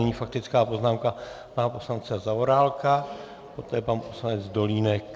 Nyní faktická poznámka pana poslance Zaorálka, poté pan poslanec Dolínek.